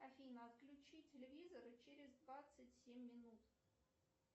афина отключи телевизор через двадцать семь минут